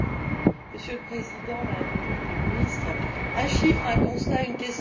Monsieur le Président, Madame la Ministre, un chiffre, un constat, une question.